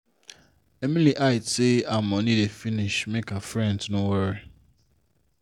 if you dey save five hundred dollars every day e better pass saving three thousand dollars once a month.